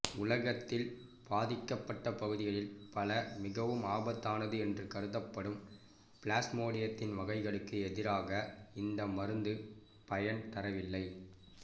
உலகத்தில் பாதிக்கப்பட்டப் பகுதிகளில் பல மிகவும் ஆபத்தானது என்று கருதப்படும் பிளாஸ்மோடியத்தின் வகைகளுக்கு எதிராக இந்த மருந்து பயன் தரவில்லை